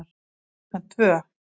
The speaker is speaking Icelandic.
Klukkan tvö